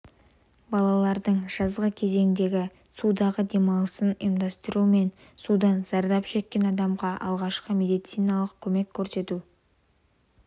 балалардың жазғы кезеңдегі судағы демалысын ұйымдастыру мен судан зардап шеккен адамға алғашқы медициналық көмек көрсету